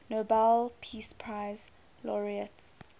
nobel peace prize laureates